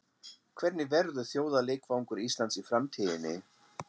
Hvernig verður þjóðarleikvangur Íslands í framtíðinni?